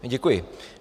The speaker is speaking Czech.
Děkuji.